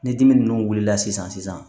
Ni dimi ninnu wulila sisan